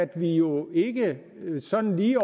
kan jo ikke sådan lige